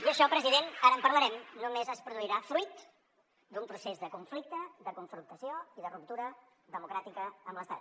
i això president ara en parlarem només es produirà fruit d’un procés de conflicte de confrontació i de ruptura democràtica amb l’estat